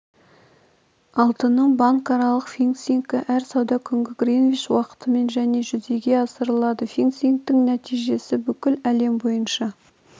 алтынның банкаралық фиксингі әр сауда күні гринвич уақытымен және жүзеге асырылады фиксингтің нәтижесі бүкіл әлем бойынша